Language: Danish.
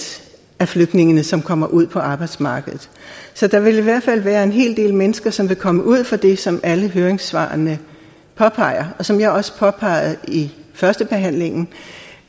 af flygtningene som kommer ud på arbejdsmarkedet så der vil i hvert fald være en hel del mennesker som vil komme ud for det som alle høringssvarene påpeger og som jeg også påpegede i førstebehandlingen